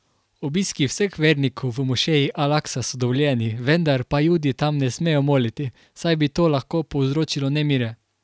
Obiski vseh vernikov v mošeji al Aksa so dovoljeni, vendar pa Judi tam ne smejo moliti, saj bi to lahko povzročilo nemire.